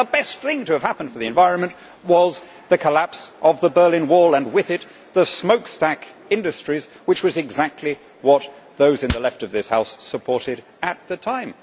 In fact, the best thing to have happened for the environment was the collapse of the Berlin Wall and with it, the smokestack industries, which was exactly what those in the left of this House supported at the time.